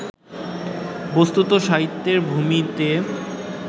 বস্তুত, সাহিত্যের ভূমিতে